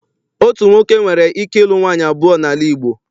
Otu nwoke nwere ike ịlu nwaanyị abụọ n'ala Igbo.